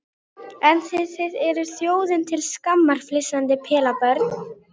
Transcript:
En þið þið eruð þjóðinni til skammar, flissandi pelabörn.